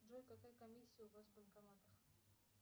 джой какая комиссия у вас в банкоматах